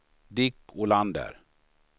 Dick Olander